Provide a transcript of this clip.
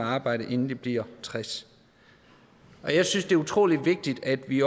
at arbejde inden de bliver tres jeg synes det er utrolig vigtigt at vi